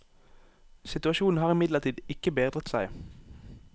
Situasjonen har imidlertid ikke bedret seg.